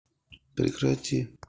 прекрати